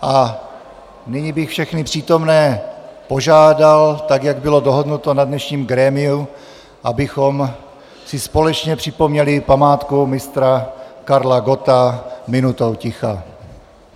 A nyní bych všechny přítomné požádal, tak jak bylo dohodnuto na dnešním grémiu, abychom si společně připomněli památku Mistra Karla Gotta minutou ticha.